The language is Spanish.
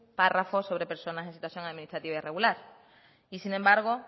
párrafo sobre personas en situación administrativa irregular y sin embargo